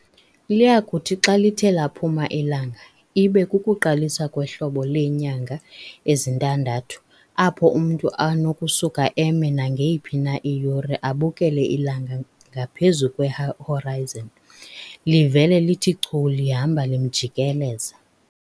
Liyakuthi xa lithe laphuma ilanga, ibe kukuqalisa kwehlobo leenyanga ezintandathu apho umntu anokusuka eme nangeyiphi na iyure abukele ilanga ngaphezu kwe-"horizon" livela lithe chu lihamba limjikeleza.